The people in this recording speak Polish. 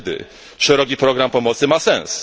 Wtedy szeroki program pomocy ma sens